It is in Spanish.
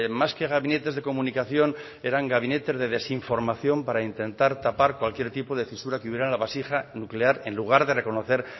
más que gabinetes de comunicación eran gabinetes de desinformación para intentar tapar cualquier tipo de fisura que hubiera en la vasija nuclear en lugar de reconocer